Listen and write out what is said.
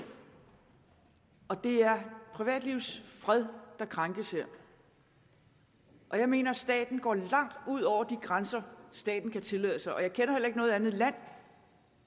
og det er privatlivets fred der krænkes her jeg mener at staten går langt ud over de grænser staten kan tillade sig og jeg kender heller ikke noget andet land